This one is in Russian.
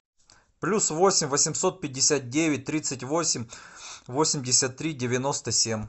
плюс восемь восемьсот пятьдесят девять тридцать восемь восемьдесят три девяносто семь